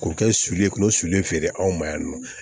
K'o kɛ sulu ye k'o sulu feere anw ma yan nɔ